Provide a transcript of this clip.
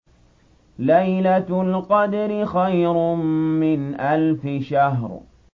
لَيْلَةُ الْقَدْرِ خَيْرٌ مِّنْ أَلْفِ شَهْرٍ